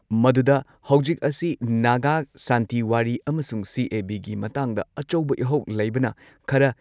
ꯃꯗꯨꯗ ꯍꯧꯖꯤꯛ ꯑꯁꯤ ꯅꯥꯒꯥ ꯁꯥꯟꯇꯤ ꯋꯥꯔꯤ ꯑꯃꯁꯨꯡ ꯁꯤ.ꯑꯦ.ꯕꯤꯒꯤ ꯃꯇꯥꯡꯗ ꯑꯆꯧꯕ ꯏꯍꯧ ꯂꯩꯕꯅ ꯈꯔ